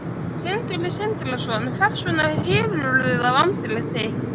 Sindri Sindrason: Hvers vegna hylurðu þá andlit þitt?